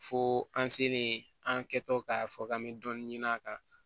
Fo an selen an kɛ tɔ k'a fɔ k'an bɛ dɔɔnin ɲini a kan